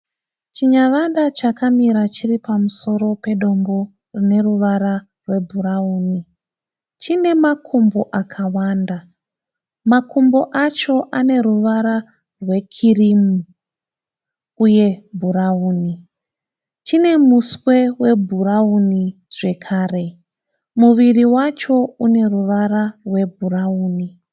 Chinyavada chakamira pamusoro pedombo rine ruvara rwebhurauni. Chine makumbo akawanda makumbo acho aneruvara rwekirimu uye bhurauni. Chine muswe webhurauni zvakare. Muviri wacho unevara rwebhurauni.